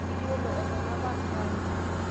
Iyiolo atolapa nkare